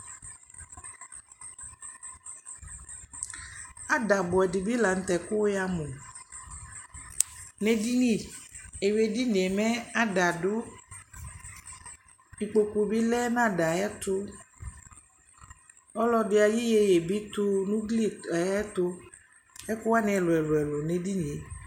Ada buɛ di la nutɛ ku'ya mu, n'edini , ewui edinie mɛ ada du ikpoku bi lɛ n'ada'ɛ tu, ɔlɔdi ayi yeye bi tu n'ugli ayɛ tu Ɛku wani ɛlu ɛlu n'edinie